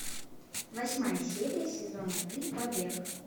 восьмая серия сезона три побег